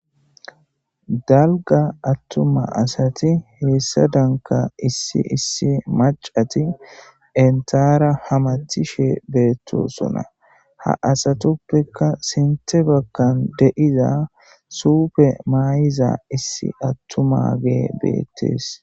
Dalgga atuma asati hesadanikka issi issi macati entara hemetishshe betosona.haa asatuppekka sinththe bagani de'iza sufe mayiza issi atumageyi betees.